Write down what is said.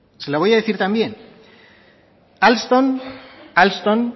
se lo voy a decir también alstom alstom